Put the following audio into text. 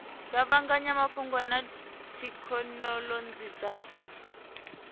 kuvhanganya mafhungo na thekhinolodzhi dza